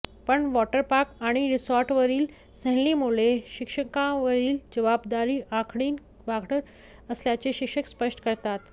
पण वॉटरपार्क आणि रिसॉर्टवरील सहलींमुळे शिक्षकांवरील जबाबदारी आणखीन वाढत असल्याचे शिक्षक स्पष्ट करतात